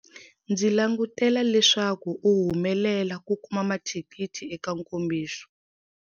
Ndzi languatela leswaku u humelela ku kuma mathikithi eka nkombiso.